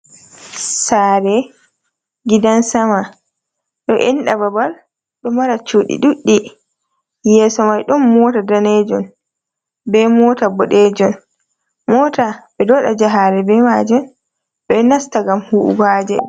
Sare gidan-sama ɗo enɗa babal, ɗo mara cuɗi ɗuɗɗi. Yeso mai ɗon mota danejun be mota bodejun. Mota ɓeɗo waɗa jahale be maji ɓe nasta ngam huɓugo haaje.